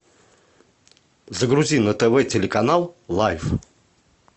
загрузи на тв телеканал лайф